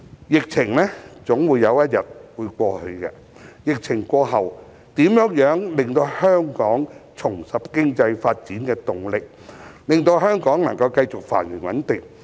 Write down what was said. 疫情總有一天會過去，疫情過後，如何令香港重拾經濟發展的動力，以及令香港繼續繁榮穩定？